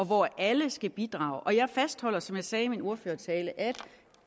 hvor alle skal bidrage jeg fastholder som jeg sagde i min ordførertale at